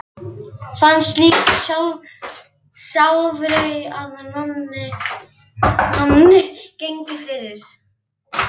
Fannst líka sjálfgefið að Nonni gengi fyrir.